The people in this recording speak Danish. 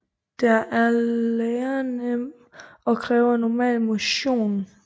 Den er lærenem og kræver normal motion